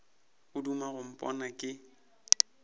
o duma go mpona ke